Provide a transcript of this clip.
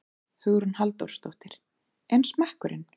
Hugrún Halldórsdóttir: En smekkurinn?